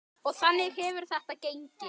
Og þannig hefur þetta gengið.